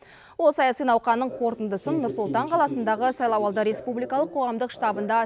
ол саяси науқанның қорытындысын нұр сұлтан қаласындағы сайлауалды республикалық қоғамдық штабында